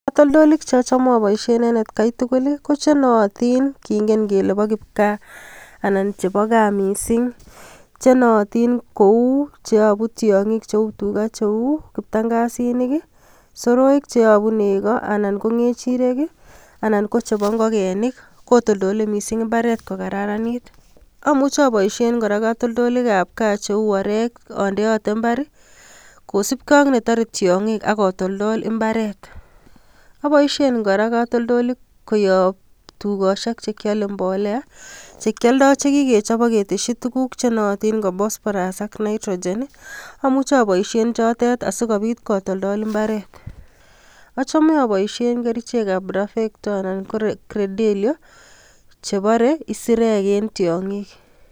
Katoltolik cheochome aboishien en etkai tugul kochenootin kingen kele boo kipkaa anan chebo gaa missing chenootin kou cheyoobu tiongiik cheu tugaa cheu kiptangasinik I,soroik cheyobu negoo anan ko kechirek anan ko kocheboo ngogenik kotoltolee missing imbaret kokararanit. Amuche aboishien kora kotoltolik cheu orek ondeeote imbaar kosiibge ak before tiongiik ak kotoltol imbaaret..Aboishien kora katoltoliik koyoob tugosiek chekiolendoen mbolea, chekioldoo chekikechob ak ketesyii tuguuk che nootin koi phosphorus ak nitrogen, amuche aboishein chotet asikobiit kotoltol imbare,a home aboishien kerichek ab bravekto anan ko credeleo chebore isirek ak tiongiik tugul